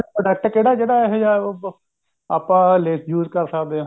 product ਕਿਹੜਾ ਜਿਹੜਾ ਅਹਿਜਾ ਆਪਾਂ ਲੇ use ਕਰ ਸੱਕਦੇ ਹਾਂ